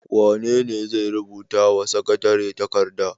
Wane ne zai rubuta wa sakatare takarda?